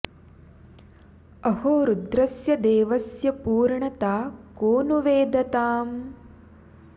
अहो रुद्रस्य देवस्य पूर्णता को नु वेद ताम्